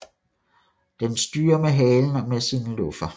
Den styrer med halen og med sine luffer